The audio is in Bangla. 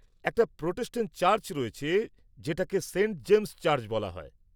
একটি প্রোটেস্টেন্ট চার্চ রয়েছে যেটাকে সেন্ট জেমস চার্চ বলা হয়।